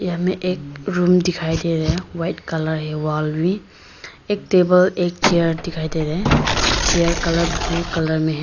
हमें एक रूम दिखाई दे रहा वाइट कलर है वाल भी एक टेबल एक चेयर दिखाई दे रहे हैं चेयर कलर ब्लू कलर में है।